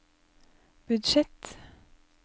budsjett